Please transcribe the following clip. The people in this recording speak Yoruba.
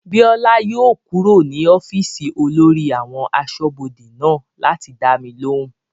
Bíọ́lá yóò kúrò ní ọ́fìsì olórí àwọn asọ́bodè náà láti dá mi lóhùn